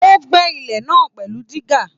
O gbẹ́ ilẹ̀ náà pẹlú dígá.